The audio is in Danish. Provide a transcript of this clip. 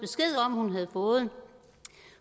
hun havde fået